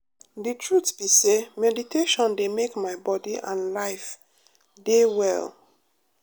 the truth be say meditation dey make my body and life deh well.